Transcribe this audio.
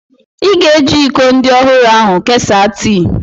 Ị ga-eji iko ndị ọhụrụ ahu kesaa tii